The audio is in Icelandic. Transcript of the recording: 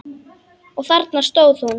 Og þarna stóð hún.